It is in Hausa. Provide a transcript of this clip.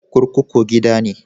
Kurkuku gida ne